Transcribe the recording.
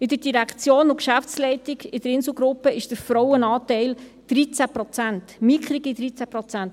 In der Direktion und Geschäftsleitung der Insel Gruppe AG ist der Frauenanteil bei 13 Prozent, mickrigen 13 Prozent!